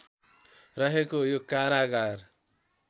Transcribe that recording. रहेको यो कारागार